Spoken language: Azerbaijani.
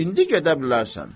İndi gedə bilərsən.